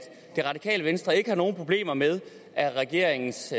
det radikale venstre ikke har nogen problemer med at regeringens